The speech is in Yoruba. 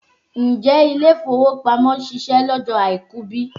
Ǹjẹ́ ilé-ìfowópamọ́ ṣiṣẹ́ lọ́jọ́ àìkú bí?